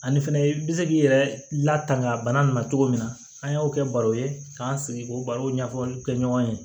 Ani fɛnɛ i bɛ se k'i yɛrɛ latanga a bana nin ma cogo min na an y'o kɛ baro ye k'an sigi k'o barow ɲɛfɔliw kɛ ɲɔgɔn ye